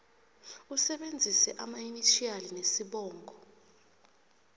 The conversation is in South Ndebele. usebenzise amainitjhiyali nesibongo